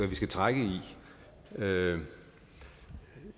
vi skal trække i vil